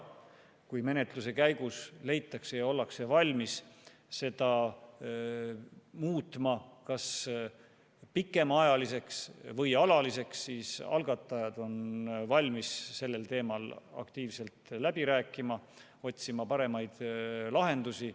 Kui menetluse käigus leitakse ja ollakse valmis seda muutma kas pikemaajaliseks või alaliseks, siis algatajad on valmis sellel teemal aktiivselt läbi rääkima, otsima paremaid lahendusi.